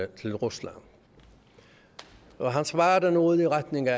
til rusland og han svarede noget i retning af